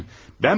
Bana baxın.